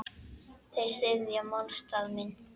Þeir styðja málstað minn.